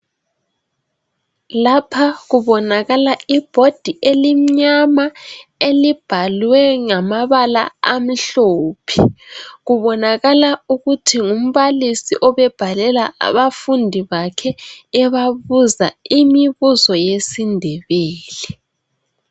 Lapha kubonakala ibhodi elimnyama elibhalwe ngamabala amhlophe. Kubonakala ukuthi ngumbalisi obebhalela abafundi bakhe ebabuza imibuzo yesindebele.